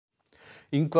Ingvar